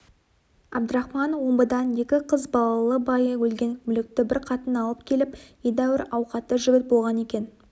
әбдірахман омбыдан екі қыз балалы байы өлген мүлікті бір қатын алып келіп едәуір ауқатты жігіт болған екен